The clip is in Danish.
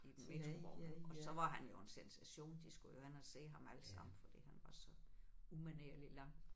I metrovognen og så var han jo en sensation de skulle jo hen og se ham alle sammen fordi han var så umanerlig lang